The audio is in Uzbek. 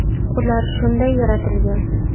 Ular shunday yaratilgan.